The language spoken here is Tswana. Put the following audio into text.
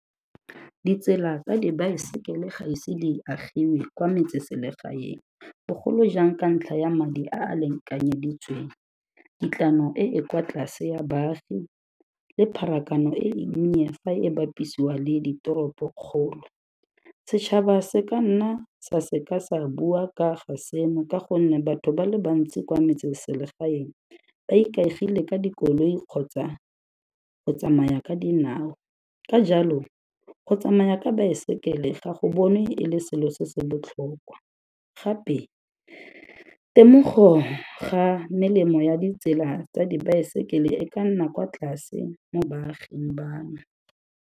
Ditsela tsa dibaesekele ga ise di agiwe kwa metseselegaeng, bogolo jang ka ntlha ya madi a a lekanyeditsweng. Kitlwano e e kwa tlase ya baagi le pharakano e nnye fa e bapisiwa le ditoropokgolo. Setšhaba se ka nna sa se ka sa bua ka ga seno ka gonne batho ba le bantsi kwa metseselegaeng ba ikaegile ka dikoloi kgotsa go tsamaya ka dinao, ka jalo go tsamaya ka baesekele ga go bonwe e le selo se se botlhokwa, gape temogo ga melemo ya ditsela tsa dibaesekele e ka nna kwa tlase mo baaging bano.